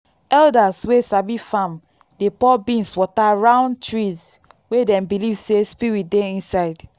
elders wey sabi farm dey pour beans water round trees wey dem believe say spirit dey inside.